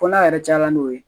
Fɔ n'a yɛrɛ caya n'o ye